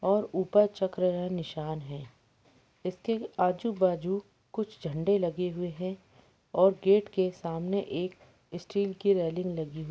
और ऊपर चक्र का निसान है इसके आजूबाजू कुछ झंडे लगे हुवे है और गेट केसामने एक स्टील की रेली लगी हुई --